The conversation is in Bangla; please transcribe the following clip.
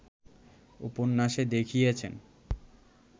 উপন্যাসে দেখিয়েছেন